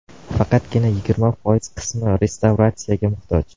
Faqatgina yigirma foiz qismi restavratsiyaga muhtoj.